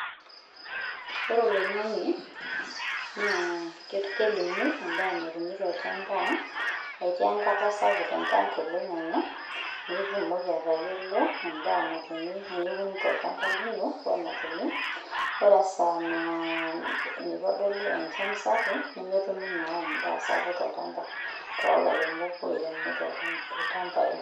Ore oloing'ang'e, naa kelimu endaa natumi tolchamba. Etii enkata sapuk enchan toloing'ang'e, nitumoki atayiolo endaa natumi niun tolchamba lino, ore esaa naa mitodolu enchan sapuk, nemetumi naa endaa sapuk tolchamba to lairemok oiremo ilchambai.